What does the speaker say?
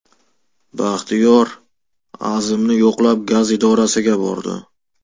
Baxtiyor Azimni yo‘qlab gaz idorasiga bordi.